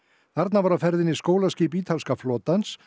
þarna var á ferðinni skólaskip ítalska flotans